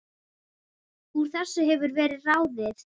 Úr þessu hefur verið ráðið